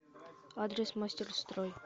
адрес мастерстрой